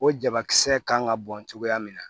O jabakisɛ kan ka bɔn cogoya min na